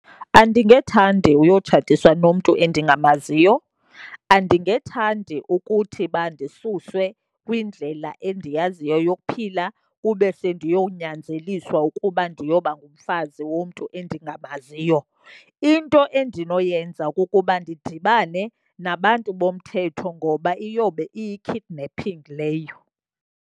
Andingethandi uyotshatiswa nomntu endingamaziyo, andingethandi ukuthi uba ndisusiwe kwindlela endiyaziyo yokuphila kube sendiyonyanzeliswa ukuba ndiyoba ngumfazi womntu endingamaziyo. Into endinoyenza kukuba ndidibane nabantu bomthetho, ngoba iyobe iyi-kidnapping leyo.